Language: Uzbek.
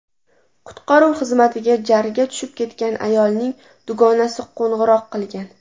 Qutqaruv xizmatiga jarga tushib ketgan ayolning dugonasi qo‘ng‘iroq qilgan.